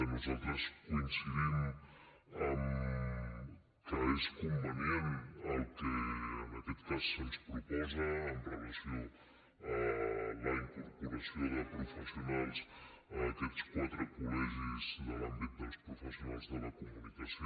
nosaltres coincidim que és convenient el que en aquest cas se’ns proposa amb relació a la incorporació de professionals a aquests quatre collegis de l’àmbit dels professionals de la comunicació